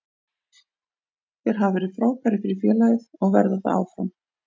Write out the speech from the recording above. Þeir hafa verið frábærir fyrir félagið og verða það áfram.